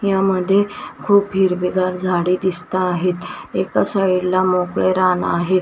यामध्ये खूप हिरवीगार झाडे दिसता आहेत एका साईडला मोकळे रान आहेत.